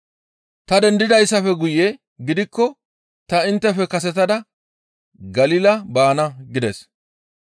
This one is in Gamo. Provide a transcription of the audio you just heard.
Ta dendidaappe guye gidikko ta inttefe kasetada Galila baana» gides.